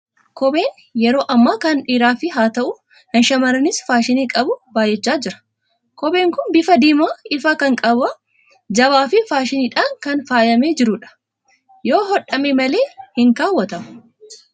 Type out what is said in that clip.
Kopheen yeroo ammaa kana dhiiraafis haa ta'u, shamarraniif faashinii qabu baay'achaa jira. Kopheen kun bifa diimaa ifaa kan qabu, jabaa fi faashiniidhaan kan faayamee jiru dha. Yoo hodhame malee hin kaawwatamu.